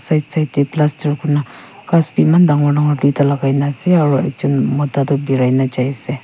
side side de plaster kurina ghas b eman dangor dangor duita lagai na ase aro ekjun mota birai na jai ase.